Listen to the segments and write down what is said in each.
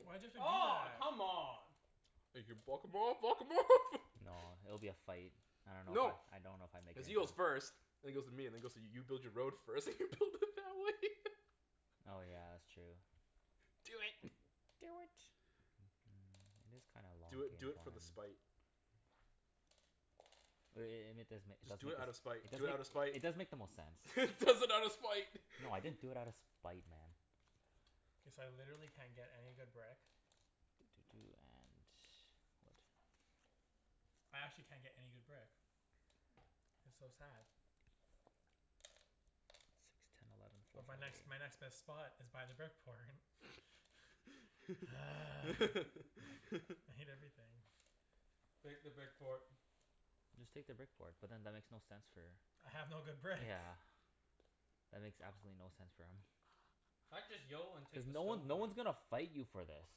Why'd you have to do Aw, that? come on. You can block him off, block him off! No, it'll be a fight. I dunno No. if I I dunno if I make Cuz he goes first and then goes to me, and then goes to you build your road first and you build it that way. Oh yeah, that's true. Do it. Do it. It is kind of a long Do it, do it for game the plan. spite. But i- i- it and it does make it Just does do make it it out of spite. Do it out of does make spite! it does make the most sense. He does it out of spite! No, I didn't do it outta spite, man. K, so I literally can't get any good brick. Doo doo doo and wood. I actually can't get any good brick. It's so sad. Six ten eleven But my next my next best spot is by the brick port. I hate everything. Take the brick port. Just take the brick port. But then that makes no sense for I have no good brick. Yeah. That makes absolutely no sense for him. I'd just and take Cuz the no stone one no port. one's gonna fight you for this.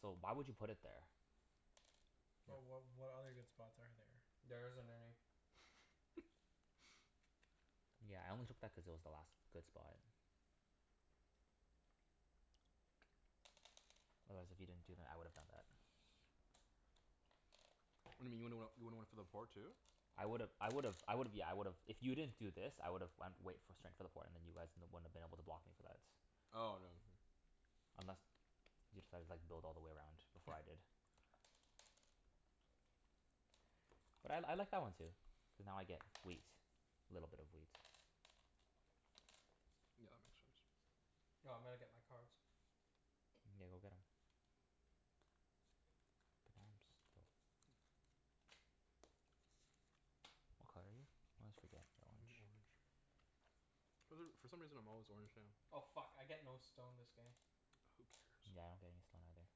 So why would you put it there? But Yeah. wh- what other good spots are there? There isn't any. Yeah, I only took that cuz it was the last good spot. Otherwise, if you didn't do that I would've done that. What do you mean you would've went, you would've went for the port too? I would've I would've I would've, yeah, I would've, if you didn't do this, I would've went wait straight for the port and then you guys wouldn't have been able to block me for that. Oh no, yeah. Unless you decided like, build all the way around before I did. But I I like that one too. Cuz now I get wheat. Little bit of wheat. Yeah, that makes sense. No, I'm gonna get my cards. Okay, go get 'em. What color are you? I always forget. Orange. For th- for some reason I'm always orange now. Oh fuck, I get no stone this game. Who cares? Yeah, I don't get any stone either.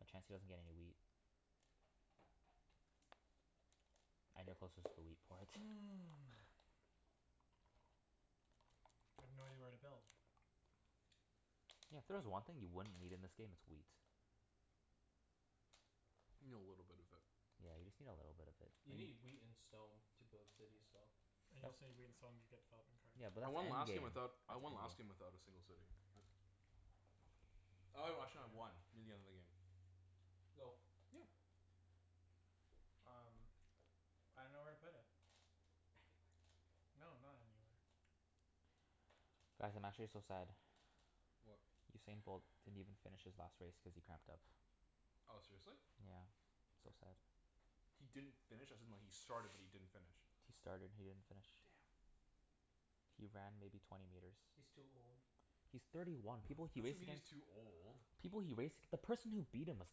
But Chancey doesn't get any wheat. And you're closest to the wheat port. Mm. I have no idea where to build. Yeah, if there was one thing you wouldn't need in this game, it's wheat. You need a little bit of it. Yeah, you just need a little bit of it. A You n- need wheat and stone to build cities, though. And you That's also need wheat and stone to get a development card. Yeah, but I that's won the end last game without, game. That's I won last end game game. without a single city. I Oh wait, actually I had one near the end of the game. Go. Yeah. Um I dunno where to put it. Anywhere. No, not anywhere. Guys, I'm actually so sad. What? Usain Bolt didn't even finish his last race cuz he cramped up. Oh, seriously? Yeah. So sad. He didn't finish? As in like, he started but he didn't finish? He started. He didn't finish. Damn. He ran maybe twenty meters. He's too old. He's thirty one. No, People it he doesn't raced mean he's against too old. People he raced, the person who beat him was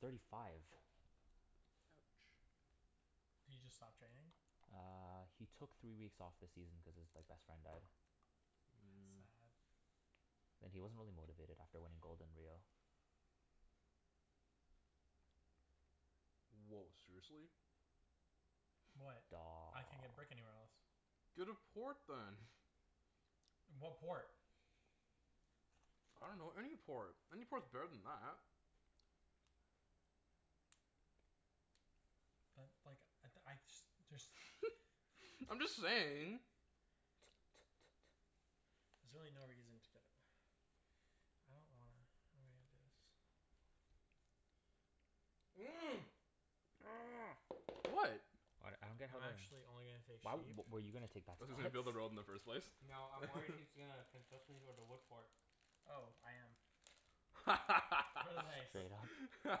thirty five. Ouch. He just stopped training? Uh, he took three weeks off this season cuz his like best friend died. That's Mm. sad. And he wasn't really motivated after winning gold in Rio. Woah, seriously? What? I can't get brick Daw anywhere else. Get a port then. What port? I dunno, any port. Any port's better than that. But like, I d- I just just I'm just saying. T- t- t- t- There's really no reason to get it. I don't wanna, how am I gonna do this? What? What? I don't get I'm how they're actually only gonna take Why w- sheep. were you gonna take that spot? Cuz he's gonna build a road in the first place? No, I'm worried he's gonna consistently go to wood port. Oh, I am. nice. Straight up.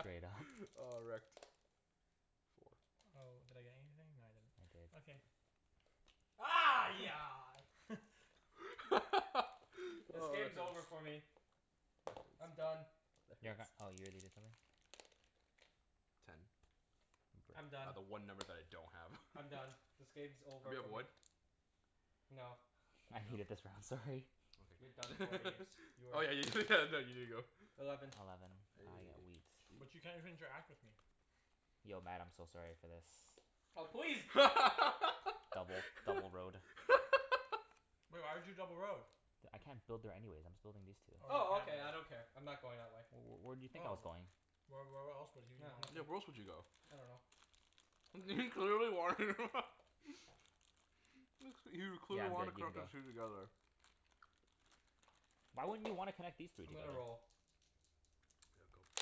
Straight up. Oh, wrecked. Four. Oh, did I get anything? No, I didn't. I did. Okay. This Oh, game's that's nice. over for me. I'm done. You're g- oh, you already did something? Ten. I'm I got done. the one number that I don't have. I'm done. This game's over Anybody have for me. wood? No. I hated this No? round, Sorry. You're done, Okay. poor Ibs. You are Oh yeah you you did go. Eleven. Eleven. I Hey. get wheat. Gee. But you can't even interact with me. Yo Mat, I'm so sorry for this. Oh please! Double double road. Woah, why'd you double road? D- I can't build there anyways. I'm still building these two. Oh, Oh, okay. you I don't care. I'm not going that way. W- w- where do you think I was Oh. going? Why, wh- where else would he Nah, wanna Yeah, nothing. where else would you go? I dunno. He clearly wanted him. Looks like, he Yeah, clearly I'm wanted good. You can go. together. Why wouldn't you wanna connect these three I'm gonna together? roll. Go.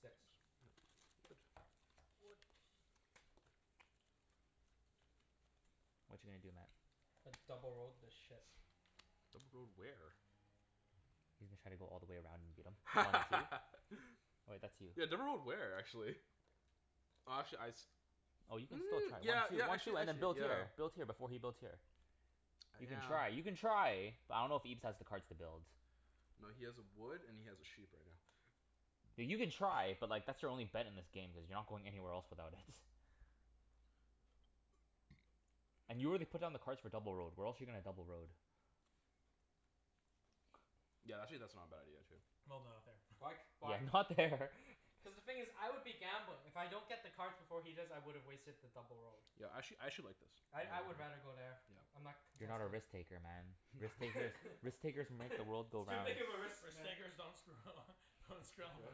Six. Whatcha gonna do, Mat? I double road this shit. Double road where? He's gonna try to go all the way around and beat him. One two. Wait, that's you. Yeah, double road where, actually? Oh, actually I s- Oh, you can still Mm, try. Once yeah you yeah, once actually you and then actually build yeah here build here, before he builds here. You can Yeah. try. You can try. But I dunno if Ibs has the cards to build. No, he has a wood and he has a sheep right now. Th- you can try, but like, that's your only bet in this game cuz you're not going anywhere else without it. And you already put down the cards for double road. Where else you gonna double road? Yeah, that's actually not a bad idea too. No no, not there. Why c- Yeah, why not there. Cuz the thing is I would be gambling. If I don't get the cards before he does, I would've wasted the double road. Yeah, actually, I actually like this. I I would rather go there. I'm not You're not a contesting. risk taker, man. Risk takers, risk takers make the world It's go too round. big of a risk, Risk man. takers don't screw Go.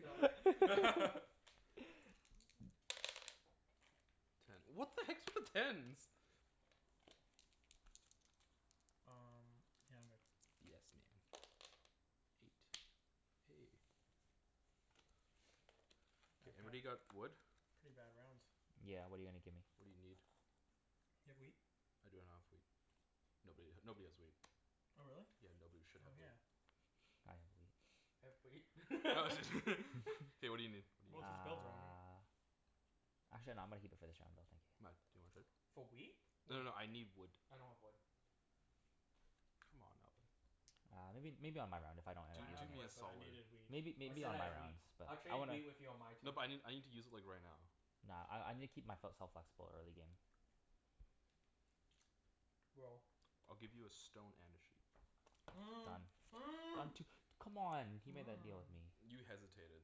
Go. Ten. What the heck's with the tens? Um, yeah, I'm good. Yes man. Eight. Hey K, I can't anybody got wood? Pretty bad rounds. Yeah, what are you gonna give me? What do you need? You have wheat? I don't have wheat. Nobody h- nobody has wheat. Oh, really? Yeah, nobody should Oh, have wheat. yeah. I have wheat. K, what do you need? Well, What if do he's you need? Uh Actually no, I'm gonna keep it for this round though, thank you. Mat? Do you wanna trade? For wheat? No no Wood. no, I need wood. I don't have wood. Come on, Alvin. Uh, maybe maybe on my round, if I don't end Do I up do have using me it. a wood, but I solid. needed wheat. Maybe I maybe said on I my had wheat. rounds but I'll I trade wanna wheat with you on my turn. No but I n- I need to use it like, right now. Nah, I I need to keep my fel- self flexible, early game. Roll. I'll give you a stone and a sheep. Done. Um two, come on, he made that deal with me. You hesitated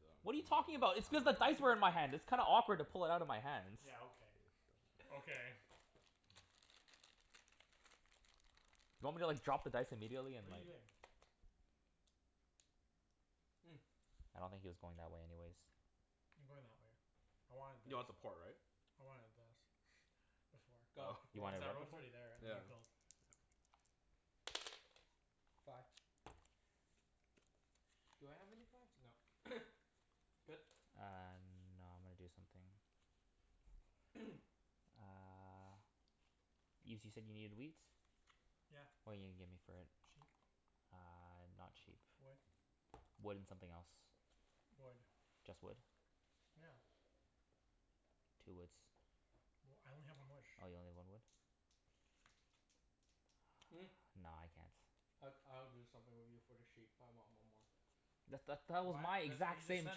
though. What are you talking about? It's cuz the dice were in my hand. It's kinda awkward to pull it outta my hands. Yeah, okay. Okay. Do you want me to like drop the dice immediately What are and you like doing? Mm. I don't think he was going that way anyways. I'm going that way. I wanted this. You want the port, right? I wanted this before. Go. Oh. You Roll. Cuz wanted what before? Yeah. I Fi- Do I have any fives? No. Good? Uh, no, I'm gonna do something. Uh Ibs, you said you needed wheat? Yeah. What are you gonna give me for it? Sheep? Ah, not sheep. Wood? Wood and something else. Wood. Just wood? Yeah. Two woods. Well, I only have one wood. Oh, you only one wood? Mm. Ah, no, I can't. I g- I would do something with you for the sheep, but I want one more. That's th- that was my What? That's what he exact just same said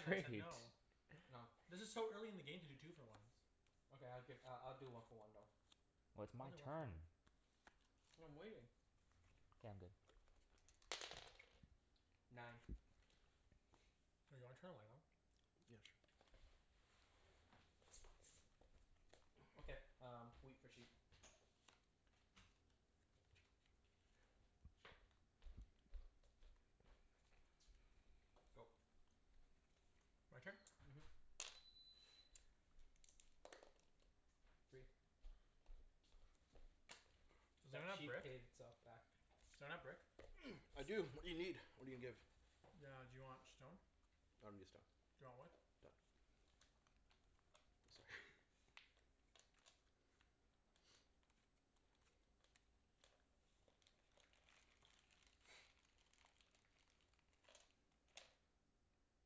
and I said trade. no. No. This is so early in the game to do two for ones. Okay, I'll gi- I'll do one for one though. Well I'll it's my do one for turn. one. And I'm waiting. K, I'm good. Nine. Do you wanna turn a light on? Yeah, sure. Okay, um wheat for sheep. Go. My turn? Mhm. Three. Is that That not a sheep brick? paid itself back. Does anyone have brick? I do. What do you need? What are you gonna give? Ah, do you want stone? I don't need a stone. Do you want wood? Done. Sorry.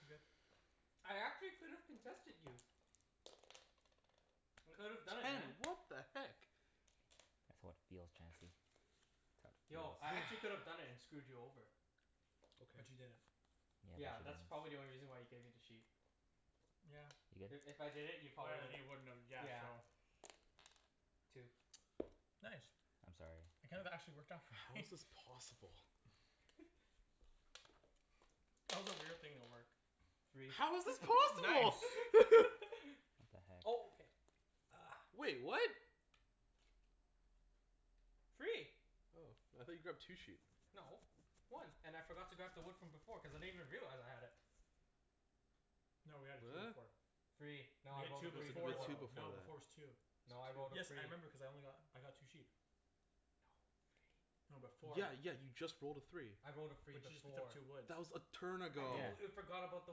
I'm good. I actually could have contested you. I could have done it, man. Ten! What the heck? That's how it feels, Chancey. That's Yo, how I it feels. actually could've done it and screwed you over. Okay. But you didn't. Yeah, Yeah, but that's probably you the didn't. only reason why you gave me the sheep. Yeah. You If good? if I did it, you Oh probably yeah, then wouldn't you wouldn't have, yeah, Yeah. so Two. Nice. I'm sorry. That kind of actually worked out for How me. is this possible? That was a weird thing to work. Three. How is this possible? Nice. What Oh, the heck? okay. Uh. Wait, what? Three. Oh, I thought you grabbed two sheep? No. One. And I forgot to grab the wood from before cuz I didn't even realize I had it. No, we had a two to four. Free. You No, I had rolled a two three before before. two though. before No, before's that. two. No, I rolled a Yes, I three. remember cuz I only got, I got two sheep. No, three. No, before Yeah yeah, you just rolled a three. I rolled a But free you just picked up before. two woods. That was a turn I ago. Yeah. completely forgot about the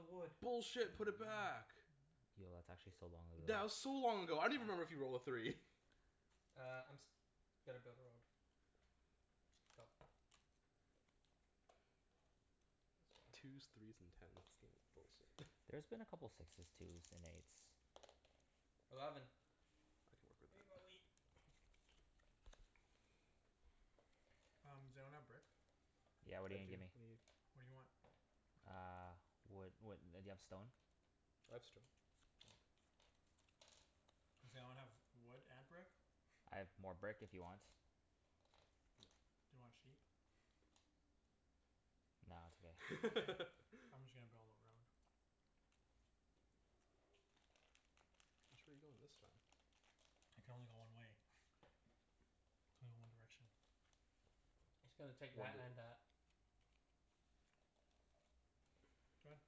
wood. Bullshit. Put it back. Yo, that's actually so long ago. That was so long ago. I don't even remember if you rolled a three. Uh, I'm s- gonna build a road. Go. Twos, threes and tens. This game is bullshit. There's been a couple sixes, twos and eights. Eleven. I can work with that. Um, does anyone have brick? I do. Yeah, what are you What gonna do you give me? need? What do you want? Uh, wood wha- do you have stone? I have stone. Does anyone have wood and brick? I have more brick if you want? Do you want sheep? Nah, it's okay. Okay. I'm just gonna build a road. Which way are you going this time? I can only go one way. Only one direction. Just gonna take One that dir- and that. Go ahead.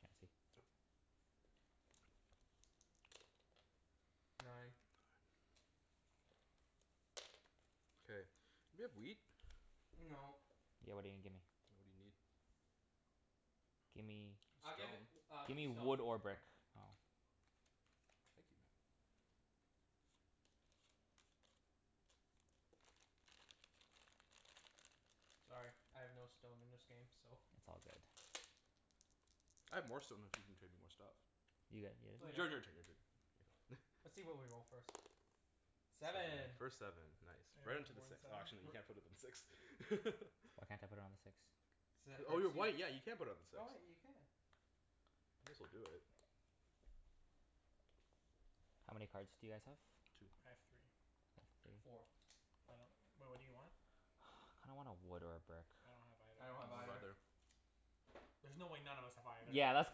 Chancey. Nine. K, do you have wheat? No. Yeah, what are you gonna give me? What do you need? Gimme I'll give Stone? i- uh, Gimme stone. wood or brick. Oh. Thank you Mat. Sorry, I have no stone in this game, so It's all good. I have more stone if you can trade me more stuff. You got yo- Y- your Later. turn, your turn. Let's see what we roll, first. Seven. Seven. First seven. Nice. Anyone Right have onto the more than six. Oh, seven? actually no, you We're can't put it on six. Why can't I put it on the six? Oh, you're white. Yeah, you can put it on the six. Oh wait, you can. This'll do it. How many cards do you guys have? Two. I have three. Three? Four. I don't, well, what do you want? Kinda want a wood or a brick. I don't have either. I don't I have don't have either. either. There's no way none of us have either. Yeah, that's,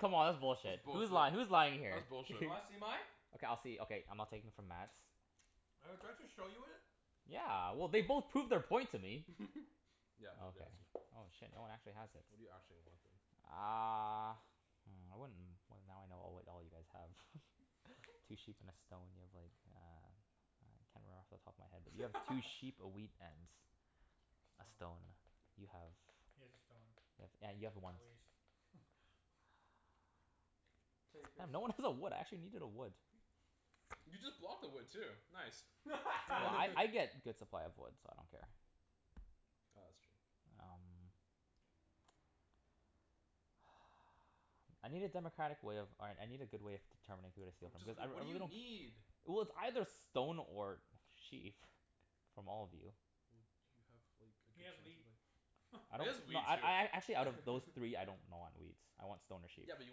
come on, that's That's bullshit. Who's lying? bullshit. Who's lying here? That's Do you bullshit. wanna see mine? Okay, I'll see, okay, I'm not taking from Mat's. Oh, do I have to show you it? Yeah, well, they both proved their point to me. Yeah, nobody has Okay. them. Oh shit, no one actually has it. What do you actually want then? Uh Hmm, I wouldn't, well, now I know all what all you guys have. Two sheep and a stone. You have like, a I can't remember off the top of my head, but you have two sheep, a wheat, and a stone. Stone. You have He has a stone. have, yeah, you have a At ones least. Takers. Damn, no one has a wood. I actually needed a wood. You just blocked the wood, too. Nice. Well I I get good supply of wood, so I don't care. Ah, that's true. Um I need a democratic way of, all right, I need a good way of determining who to steal Oh from, just cuz I wh- re- I what do you really don't need? Well, it's either stone or or sheep. From all of you. Well, do you have like, a He good has chance of wheat. like I It don't, is no, wheat, I too. I a- actually out of those three, I don't know on wheat. I want stone or sheep. Yeah, but you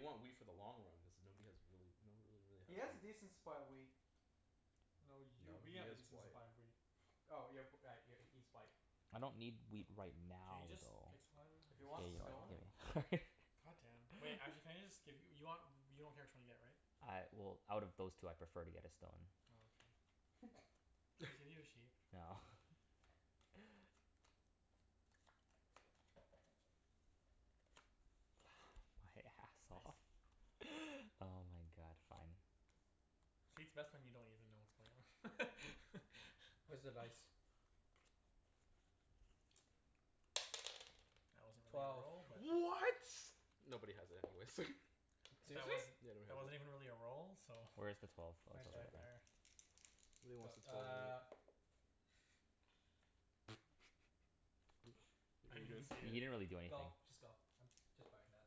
want wheat for the long run cuz nobody has really, nobody really He has has wheat. decent supply of wheat. No, you, No, we he have a has decent white. supply of wheat. Oh y- p- uh, y- he's white. I don't need wheat right Can you now, just though. pick someone? If you want Let's move stone on. God damn. Wait, actually can you just give you, you want, you don't care which one you get, right? I, well, out of those two I prefer to get a stone. Oh, okay. Can I just give you a sheep? No. My ass It's off. nice. Oh my god, fine. See, it's best when you don't even know what's going on. Where's the dice? That wasn't really a Twelve. roll, but What? Nobody has it anyways. But that Seriously? wasn't, Yeah, that wasn't nobody even has it. really a roll, so Where is the twelve? Oh, Oh, it's Right Right it's over there. over there. there. there. Go. Uh I didn't even see You it. didn't really do anything. Go. Just go. I'm just buying that.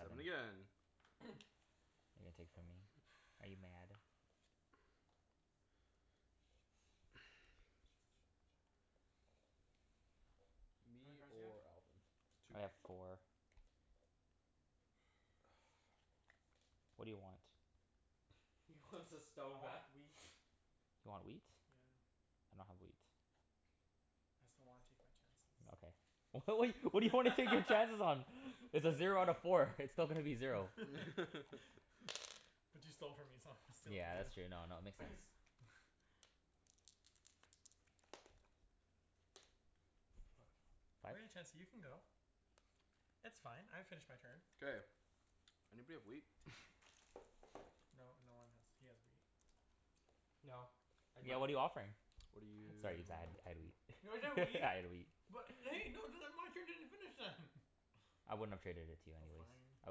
Seven again. You gonna take from me? Are you mad? How many Me cards do you have? or Alvin. Two. I have four. Oh, fuck. What do you want? He wants his I stone back. want wheat. You want wheat? Yeah. I don't have wheat. I just don't wanna take my chances. Okay. W- what what do you want to take your chances on? It's a zero out of four. It's still gonna be zero. But you stole from me so I'm gonna steal from Yeah, that's true. No, you. no, it makes sense. Five? Chancey, you can go. It's fine. I finished my turn. K, anybody have wheat? No, no one has, he has wheat. No, I Yeah. don't. What are you offering? What do you Sorry need? Ibs, I had I had wheat. You have a I wheat? had wheat. What I wouldn't have traded it to you Oh anyways. fine, I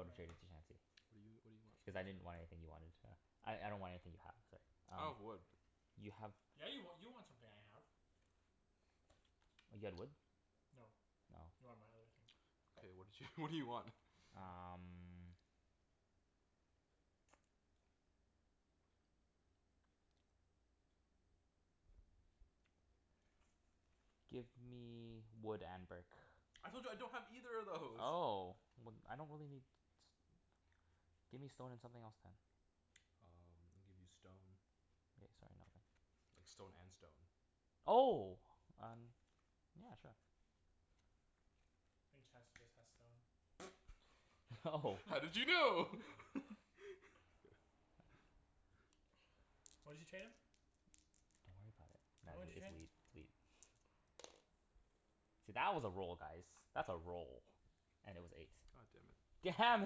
would've traded to Chancey. What do you, what do Cuz I you didn't want for it? want anything you wanted, uh I I don't want anything you have, sorry. I don't Um have wood. you have Yeah, you wa- you want something I have. You had wood? No. You Oh. want my other thing. K, what did you, what do you want? Um Give me wood and brick. I told you I don't have either of those! Oh, well I don't really need s- give me stone and something else then. Um, I'll give you stone. Okay, sorry. No, then. Like, stone and stone. Oh! Um Yeah, sure. I think Chancey just has stone. Oh. How did you know? What did you trade him? Don't worry about it. Nah, Tell me what it's you traded? wheat. It's wheat. See that was a roll, guys. That's a roll. And it was eight. God damn it. Damn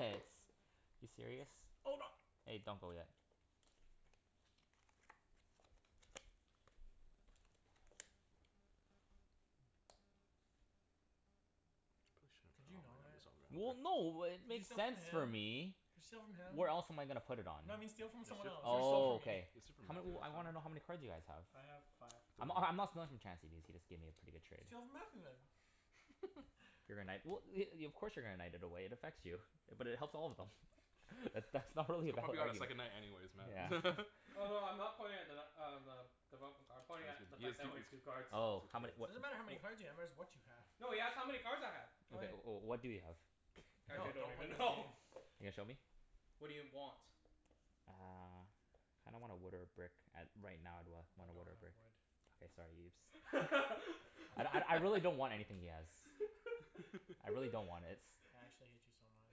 it. You serious? Hold on. Hey, don't go yet. Mm. Could you not? there. Well, no, it Can you makes steal from sense for him? me. Can you steal from him? Where else am I gonna put it on? No, but steal from someone else. Don't steal Oh, from me. okay. How m- I wanna know how many cards you guys have. I have five. Three. I'm h- I'm not stealing from Chancey cuz he just gave me a pretty good trade. Steal from Mathew, then. If you're gonna knight, well y- i- of course you're gonna knight it away. It affects you. But it helps all of them. But that's not really a He'll bad probably got a second argument. knight anyways, Yeah. man. Oh, no, I'm not pointing at the nut uh, the I'm pointing at the fact that I only have two cards. three Oh. How many It what i- doesn't matter cards. how many cards w- you have, it's what you have. No, he asked how many cards I had. Okay, Okay. o- oh what do you have? Actually, No, I don't don't play even this know. game. You gonna show me? What do you want? Uh I don't want a wood or a brick, at right now I'd wa- Oh, I a don't wood or a have brick. wood. Okay, sorry Ibs. I I'd don't I I have really wood. don't want anything he has. I really don't want its. I actually hate you so much.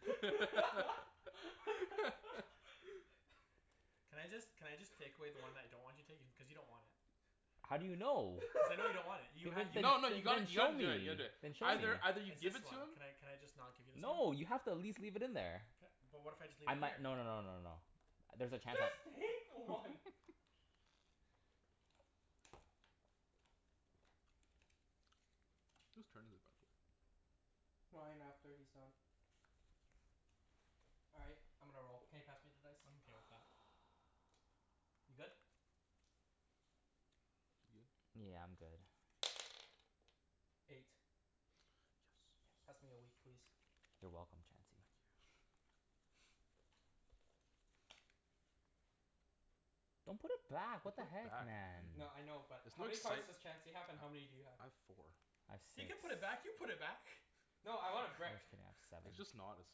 Can I just, can I just take away the one that I don't want you to take? Cuz you don't want it. How do you know? Cuz I know you don't want it. You You had, did you did No no, just you you gotta didn't you show gotta me. do it. You gotta do it. Then show me. Either either you It's give this it to one. him Can I can I just not give you this one? No, you have to at least leave it in there. Ca- but what if I just leave I it mi- here? no no no no no no. There's a chance I Just take one. Whose turn is it, by the way? Mine, after he's done. All right. I'm gonna roll. Can you pass me the dice? I'm okay with that. You good? You good? Yeah, I'm good. Eight. Yes. Pass me a wheat please? You're welcome, Chancey. Thank you. Don't put it back. You What the put heck, back, man. man? No, I know, but There's how no many cards excite- does Chancey I have and how many do you have? I have four. I have He six. can put it back. You put it back. No, I want a can brick. I have seven? It's just not as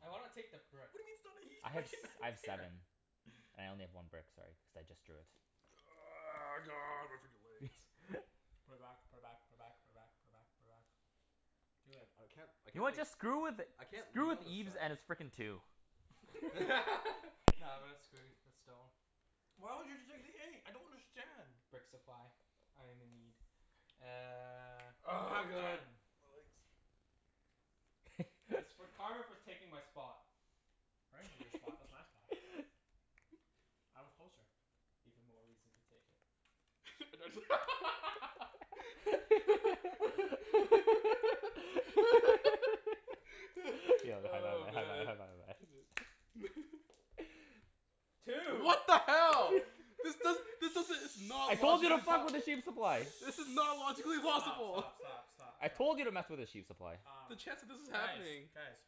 I wanna take the brick. I had s- I have seven. I only have one brick, sorry, cuz I just drew it. God Put it back. Put it back. Put it back. Put it back. Put it back. Put it back. Do it. I I can't I You know can't what? like Just screw with it. I can't Screw leave with on this Ibs side. and his frickin' two. Nah, I'm gonna screw with the stone. I don't understand. Brick supply. I am in need. Uh Oh my god, my legs. It's for karma for taking my spot. I didn't take your spot. That's my spot. I was closer. Even more reason to take it. Oh, man. Two! What the hell? This does, Shh. Shh. this doesn't it's not I told you to fuck with the sheep supply! This is not logically possible. Stop, stop, stop, stop, stop. I told you to mess with the sheep supply. Um, The chance that this is guys, happening. guys.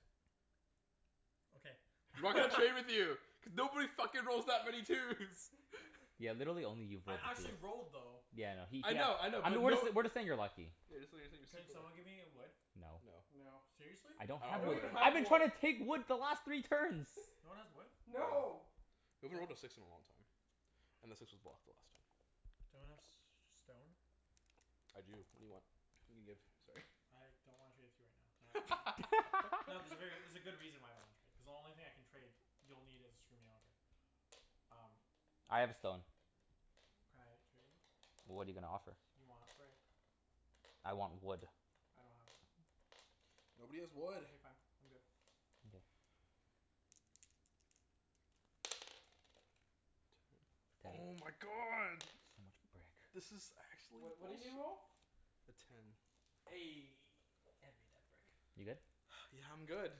Okay. I'm not gonna play with you. Cuz nobody fucking rolls that many twos! Yeah, literally only you've rolled I twos. actually rolled, though. Yeah, I know. He, I know, yeah I know, I know but we're no jus- we're just saying you're lucky. Yeah, just we're saying you're Can super someone lucky. give me a wood? No. No. No. Seriously? I I don't don't I have have don't wood. even wood. I've have been wood. trying to take wood the last three turns. No one has wood? No. No! We haven't rolled a six in a long time. And the six was blocked the last time. Do you want a s- stone? I do. What do you want? Can you give? Sorry. I don't wanna trade it to you right now. Not No, there's a ver- there's a good reason why I don't wanna trade. Cuz the only thing I can trade, you'll need it to screw me over. Um I have a stone. Can I trade you? What are you gonna offer? You want a brick. I want wood. I don't have wood. Nobody has wood. Okay fine, I'm good. Okay. Oh Ten. my god! So much brick. This is actually What what did bullshit. you roll? A ten. Eh, hand me that brick. You good? Yeah, I'm good.